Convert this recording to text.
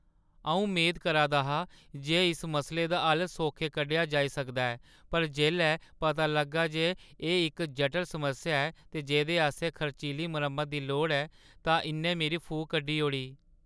अऊं मेद करा दा हा जे इस मसले दा हल्ल सौखे कड्ढेआ जाई सकदा ऐ पर जेल्लै पता लग्गा जे एह् इक जटल समस्या ऐ ते जेह्दे आस्तै खर्चीली मरम्मता दी लोड़ ऐ तां इ'न्नै मेरी फूक कड्ढी ओड़ी ।